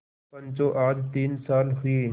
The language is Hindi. पंचो आज तीन साल हुए